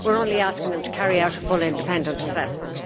We are only asking them to carry out a full independent assessment.